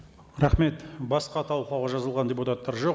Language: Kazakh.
рахмет басқа талқылауға жазылған депутаттар жоқ